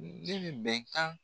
Ne bɛ bɛnkan